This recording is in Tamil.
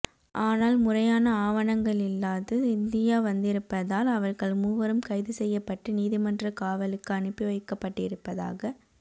ஆனால் முறையான ஆவணங்களில்லாது இந்தியா வந்திருப்பதால் அவர்கள் மூவரும் கைதுசெய்யப்பட்டு நீதிமன்றக்காவலுக்கு அனுப்பிவைக்கப்பட்டிருப்பதாக